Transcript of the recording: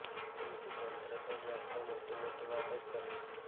પરંતુ તંત્ર તો માત્ર મોટી મોટી વાતો જ કરે છે